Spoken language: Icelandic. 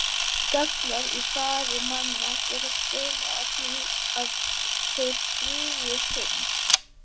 Gallar í fari manna geta stuðlað að því að þeir drýgi synd.